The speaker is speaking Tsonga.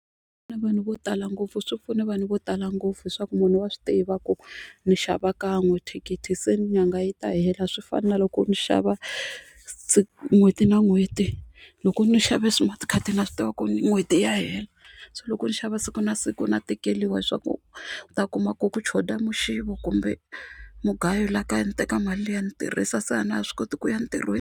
vanhu vo tala ngopfu swi pfune vanhu vo tala ngopfu leswaku munhu wa swi tiva ku ni xava kan'we thikithi se nyanga yi ta hela a swi fani na loko ndzi xava n'hweti na n'hweti loko ni xave smart card na swi tiva ku n'hweti ya hela so loko ni xava siku na siku na tekeriwa leswaku u ta kuma ku ku choda muxivo kumbe mugayo laha kaya ni teka mali liya ni tirhisa se a na ha swi koti ku ya ntirhweni.